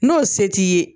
N'o se t'i ye